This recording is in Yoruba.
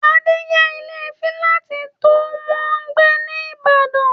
Adé n yá ilé fílátì tó wọ́n gbé ní ìbàdàn